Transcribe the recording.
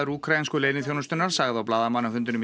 úkraínsku leyniþjónustunnar sagði á blaðamannafundinum